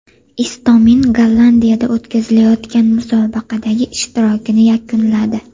Istomin Gollandiyada o‘tkazilayotgan musobaqadagi ishtirokini yakunladi.